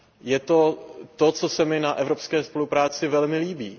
Je to to, co se mi na evropské spolupráci velmi líbí.